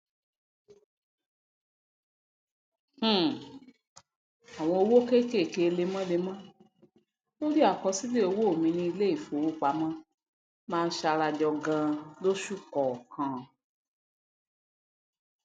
um àwọn owó kékéké lemọlemọ lórí àkọsílẹ owó mi ní iléìfowópamọ máa ń sarajọ ganan losù kọọkan